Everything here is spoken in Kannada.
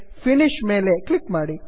ಫಿನಿಶ್ ಫಿನಿಷ್ ಮೇಲೆ ಕ್ಲಿಕ್ ಮಾಡಿ